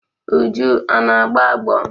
Uju,a na-agbọ agbọ